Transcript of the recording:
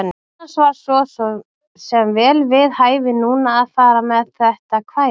Annars var svo sem vel við hæfi núna að fara með þetta kvæði.